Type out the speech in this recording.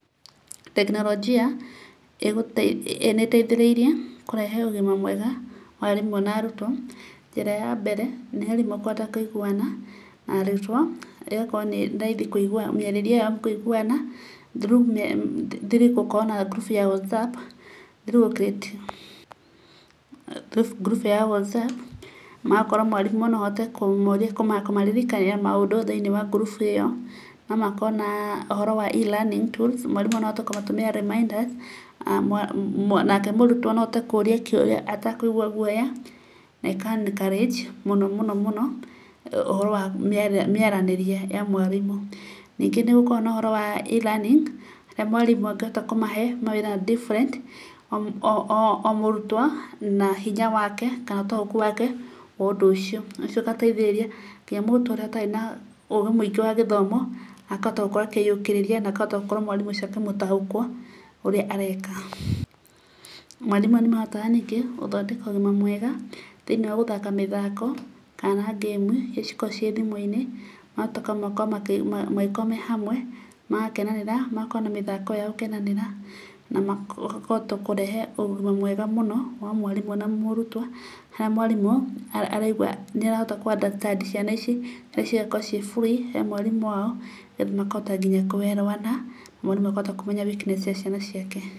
Tekinoronjia nĩ ĩteithĩrĩirie kũrehe ũgima mwega wa arimũ na arutwo, njĩra ya mbere, nĩ arimũ kũhota kũiguana na arutwo, ĩgakorwo nĩ raithi kuigua mĩarĩrio-inĩ yao kũiguana, through gũkorwo na ngurubu ya WhatsApp, ngurubu ya WhatsApp, magakora mwarimũ noahote kũmoria, kũmaririkania maũndũ thĩinĩ ya ngurubu ĩyo. Nomakorwo na ũhoro wa E-learning tools, mwarimũ agatũmĩra reminders, nake mũrutwo noahote kũria kĩũria atakũigua gũoya, na ĩka encourage mũno mũno, ũhoro wa mĩaranĩrie ya mwarimũ. Ningĩ nĩgũkoragwo na ũhoro wa E-learning, harĩa mwarimũ angĩhota kũmahe wĩra different o mũrutwo, na hinya wake kana ũtaũku wake, wa ũndũ ũcio. Ũndũ ũcio ũgateithĩrĩria nginya mũrutwo ũrĩa ũtarĩ na ũgĩ mũingĩ wa gĩthomo, akahota gũkorwo akĩyũkĩrĩria na akahota gũkorwo mwarimũ ũcio akĩmũtaũkwo ũrĩa areka. Mwarimũ nĩmahotaga gũthondeka ũgima mwega thĩinĩ wa gũthaka mĩthako, kana ngĩmu iria ikoragwo thimũ-inĩ, magacoka magakorwo mangĩkorwo mehamwe, magakenerera, magakorwo na mĩthako yao na gũkenanĩra, na makahota kũrehe ũgima mwega mũno wa mwarimũ na mũrutwo, haria mwarimũ araigua nĩ arahota kũ understand, ciana ici, cigakorwo ciĩ free hemwarimũ, wao na makahota nginya kũerewana, mwarimũ akahota kũmenya weaknesses cia ciana ciake.